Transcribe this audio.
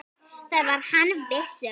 Það var hann viss um.